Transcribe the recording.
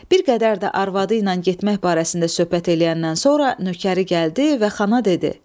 Bir qədər də arvadı ilə getmək barəsində söhbət eləyəndən sonra nökəri gəldi və xana dedi: